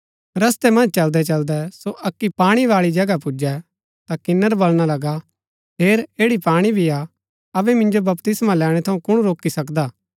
रस्तै मन्ज चलदै चलदै सो अक्की पाणी बाळी जगह पुजै ता किन्‍नर बलणा लगा हेर ऐड़ी पाणी भी हा अबै मिन्जो बपतिस्मा लैणै थऊँ कुण रोकी सकदा